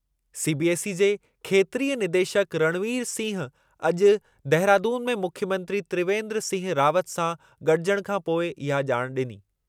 CBSE जे खेत्रीय निदेशकु रणवीर सिंह अॼु देहरादून में मुख्यमंत्री त्रिवेन्द्र सिंह रावत सां गॾिजण खां पोइ इहा ॼाण ॾिनी।